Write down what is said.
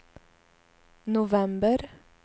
november